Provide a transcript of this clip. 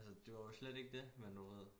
Altså det var jo slet ikke det men du ved